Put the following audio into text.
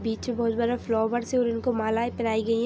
बीच में बहुत बड़ा फ्लावर्स है और इनको माला पहनाई गयी है।